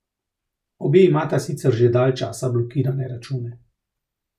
Obe imata sicer že dalj časa blokirane račune.